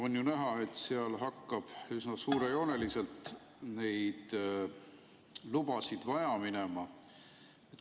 On ju näha, et neid lubasid hakkab seal üsna suurejooneliselt vaja minema.